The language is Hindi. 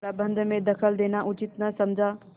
प्रबंध में दखल देना उचित न समझा